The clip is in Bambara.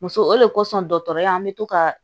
Muso o de kosɔn dɔgɔtɔrɔya an bɛ to ka